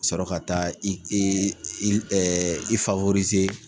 Ka sɔrɔ ka taa i e ɛ i faworize